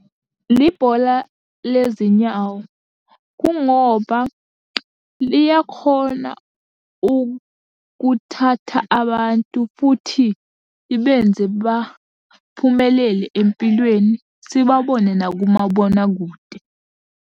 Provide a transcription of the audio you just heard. Libhola lezi nyawo, kungoba liyakhona ukuthatha abantu, futhi libenze baphumelele empilweni sibabone nakomabonakude.